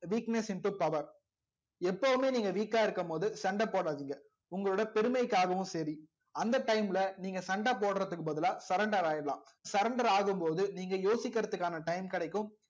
weakness into power எப்பவுமே நீங்க weak ஆ இருக்கும்போது சண்டை போடாதீங்க உங்களோட பெருமைக்காகவும் சரி அந்த time ல நீங்க சண்டை போடுறதுக்கு பதிலா surrender ஆயிடலாம் surrender ஆகும்போது நீங்க யோசிக்கிறதுக்கான time கிடைக்கும்